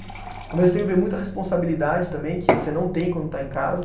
Mas eu tenho ver muita responsabilidade também, que você não tem quando está em casa.